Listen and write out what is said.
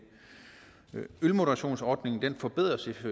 ølmodererationsordningen forbedres